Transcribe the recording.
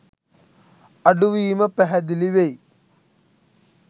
අඩුවීම පැහැදිලි වෙයි.